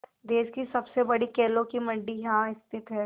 देश की सबसे बड़ी केलों की मंडी यहाँ स्थित है